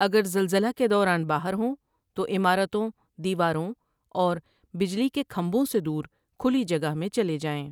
اگر زلزلہ کے دوران باہر ہوں توعمارتوں ، دیواروں اور بجلی کے کھمبوں سے دور کھلی جگہ میں چلے جائیں ۔